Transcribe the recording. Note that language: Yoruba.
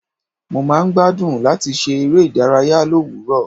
Mo máa ń gbádùn láti ṣe eré ìdárayá l'òwúrò.